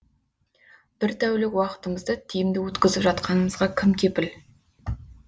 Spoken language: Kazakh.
бір тәулік уақытымызды тиімді өткізіп жатқанымызға кім кепіл